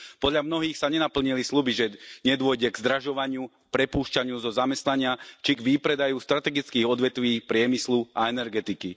Podľa mnohých sa nenaplnili sľuby, že nedôjde k zdražovaniu, prepúšťaniu zo zamestnania, či k výpredaju strategických odvetví priemyslu a energetiky.